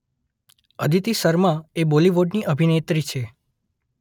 અદિતિ શર્મા એ બૉલિવૂડની અભિનેત્રી છે